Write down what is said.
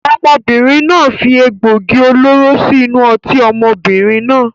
Ọmọbìnrin náà fi egbògi olóró síí inú ọtí ọmọbìnrin náà.